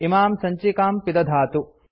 इमां सञ्चिकां पिदधातु